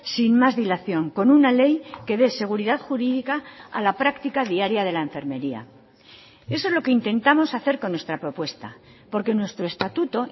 sin más dilación con una ley que dé seguridad jurídica a la práctica diaria de la enfermería eso es lo que intentamos hacer con nuestra propuesta porque nuestro estatuto